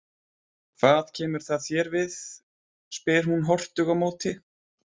Hvað kemur það þér við, spyr hún hortug á móti.